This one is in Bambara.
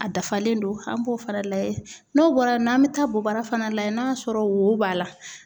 A dafalen don an b'o fana lajɛ, n'o bɔra y'an bɛ taa bobara fana layɛ n'a sɔrɔ wo b'a la.